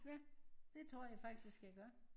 Ja det tror jeg faktisk jeg gør